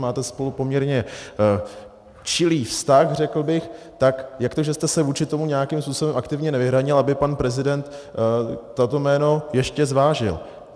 Máte spolu poměrně čilý vztah, řekl bych, tak jak to, že jste se vůči tomu nějakým způsobem aktivně nevyhranil, aby pan prezident toto jméno ještě zvážil?